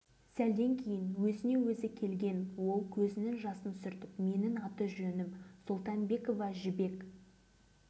осы кезде жанымызға келген әдеміше жас келіншек бірдеңе айтқысы келгендей оқталып тұрды да қыстығып жылап жіберді